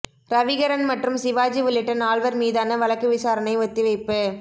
ரவிகரன் மற்றும் சிவாஜி உள்ளிட்ட நால்வர் மீதான வழக்கு விசாரணை ஒத்திவைப்பு